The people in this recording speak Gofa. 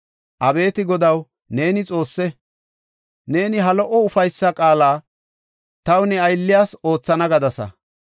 Abeeti Godaw, neeni Xoosse! Neeni ha lo77o ufaysa qaala taw ne aylliyas oothana gadasa.